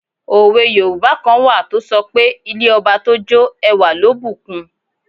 Òwe yoòbá kan wà tó sọ pé 'ilé ọba tó jó ẹwà ló bù kun'